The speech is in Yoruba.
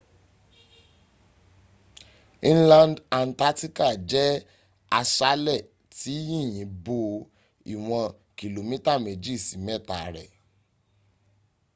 inland antarctica jẹ́ aṣálẹ̀ tí yìnyín bo ìwọn kìlómítà mẹ́jì sí mẹ́ta rẹ